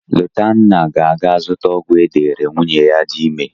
Lotanna ga-aga zụta ọgwụ e deere nwunye ya dị ime.